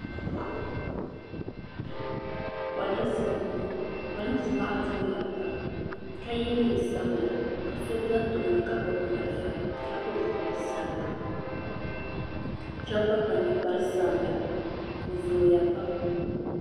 Polinsi m boŋɔ polinsi maa zooya pam ka ye niɛn'sabla ka so za tooni ka gbibi marafa ka pili zipil'sabila sheba gba kpa ninkpari sabila bɛ zooya pam.